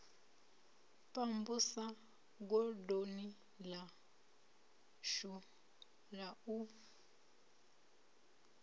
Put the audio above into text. pambusa godoni ḽashu la u